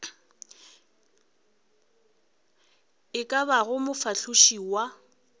e ka bago mofahloši wa